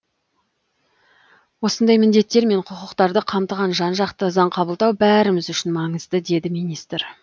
осындай міндеттер мен құқықтарды қамтыған жан жақты заң қабылдау бәріміз үшін маңызды деді министр